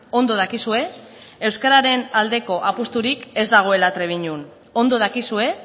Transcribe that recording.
ondo dakizue euskararen aldeko apusturik ez dagoela trebiñon ondo dakizue